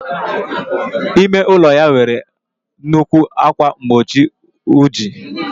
Ime ụlọ ya nwere nnukwu ákwà mgbochi ojii.